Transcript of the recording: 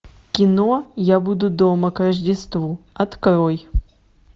кино я буду дома к рождеству открой